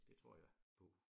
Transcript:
Det tror jeg på